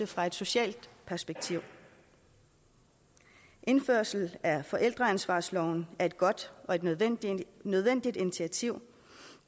fra et socialt perspektiv indførelsen af forældreansvarsloven er et godt og nødvendigt nødvendigt initiativ